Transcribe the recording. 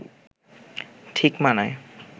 ঠিক মানায়